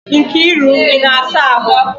Nkiru, ị na-asa ahụ?